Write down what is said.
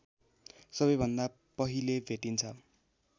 सबैभन्दा पहिले भेटिन्छ